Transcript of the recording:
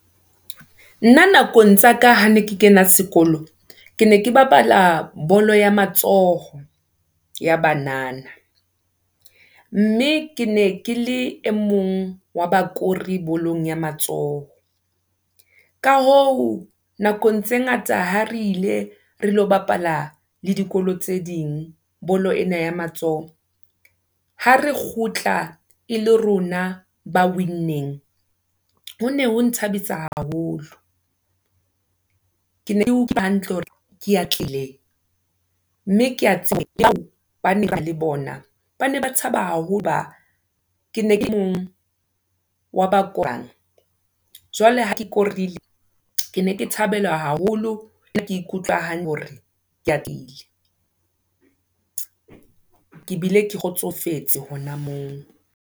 Nna nakong tsaka ha ne ke kena sekolo, ke ne ke bapala bolo ya matsoho, ya banana, mme ke ne ke le e mong, wa bakori bolong ya matsoho. Ka hoo, nakong tse ngata ha re ile, re lo bapala le dikolo tse ding, bolo ena ya matsoho. Ha re kgutla e le rona, ba winneng, ho ne ho nthabisa haholo. Ke ne ke utlwa hantle hore ke atlehileng, mme keya tshepa le bana le bona, bane ba thaba haholo ho ba, kene kele emong, wa bakwang, jwale ha ke korile, ke ne ke thabelwa haholo, e bile ke ikutlwa hore ke a tlile, ke bile ke kgotsofetse hona moo.